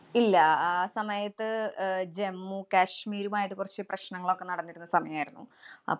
ഇല്ല. അഹ് ആ സമയത്ത് അഹ് ജമ്മു-കാശ്മീരുമായിട്ട് കൊറച്ച് പ്രശ്നങ്ങളൊക്കെ നടന്നിരുന്ന സമയായിരുന്നു.